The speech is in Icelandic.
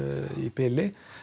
í bili